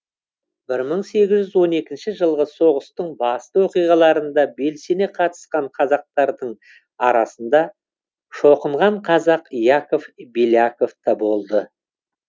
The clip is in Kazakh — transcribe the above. бір мың сегіз жүз он екінші жылғы соғыстың басты оқиғаларында белсене қатысқан қазақтардың арасында шоқынған қазақ яков беляков та болды